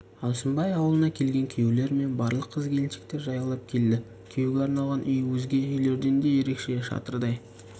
алшынбай аулына күйеулер мен барлық қыз-келіншек жаяулап келді күйеуге арналған үй өзге үйлерден де ерекше шатырдай